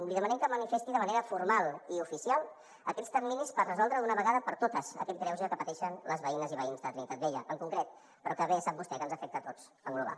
li demanem que manifesti de manera formal i oficial aquests terminis per resoldre d’una vegada per totes aquest greuge que pateixen les veïnes i veïns de trinitat vella en concret però que bé sap vostè que ens afecta a tots en global